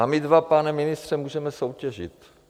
A my dva, pane ministře, můžeme soutěžit.